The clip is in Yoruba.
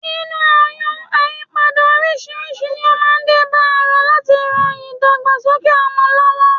Nínú oyún, àyípadà oríṣiríṣi ni ó máa ń dé bá ara láti rán ìdàgbàsókè ọmọ lọ́wọ́